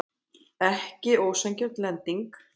Ekki ósanngjörn lending